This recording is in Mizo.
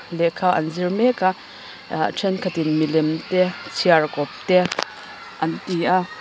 lehkha an zir mek a ah thenkhat in milem te chhiarkawp te an ti an--